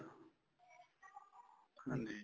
ਹਾਂਜੀ